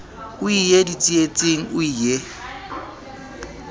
o ie ditsietsing o ie